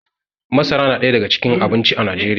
masara na daya daga cikin abinci a najeriya